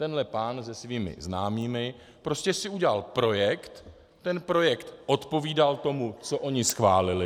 Tenhle pán se svými známými prostě si udělal projekt, ten projekt odpovídal tomu, co oni schválili.